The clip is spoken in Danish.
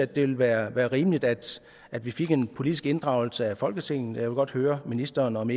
det ville være være rimeligt at at vi fik en politisk inddragelse af folketinget og jeg vil godt høre ministeren om